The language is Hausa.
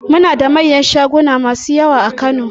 Muna da manyan shaguna masu yawa a Kano